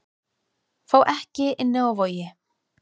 Fá ekki inni á Vogi